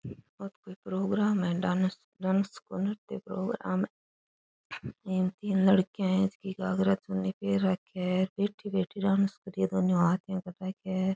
ओ तो कोई प्रोग्राम है डांस डांस को नृत्य प्रोग्राम है इमें तीन लड़कियां है जकी घाघरा चुन्नी पहर राखिया है बैठी बैठी डांस कर रही है दोनों हाथ यो कर राख्या है।